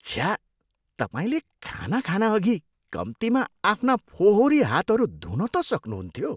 छ्या! तपाईँले खाना खानअघि कम्तीमा आफ्ना फोहोरी हातहरू धुन त सक्नुहुन्थ्यो।